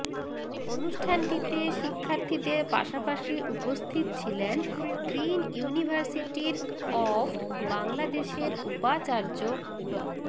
অনুষ্ঠানটিতে শিক্ষার্থীদের পাশাপাশি উপস্থিত ছিলেন গ্রিন ইউনিভার্সিটির অফ বাংলাদেশের উপাচার্য ড